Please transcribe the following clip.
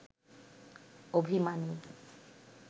অভিমানী